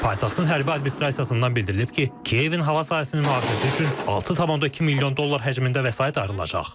Paytaxtın hərbi administrasiyasından bildirilib ki, Kiyevin hava sahəsinin mühafizəsi üçün 6,2 milyon dollar həcmində vəsait ayrılacaq.